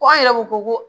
Ko an yɛrɛ ko ko